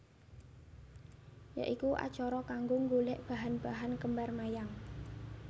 Ya iku acara kanggo nggolek bahan bahan kembar mayang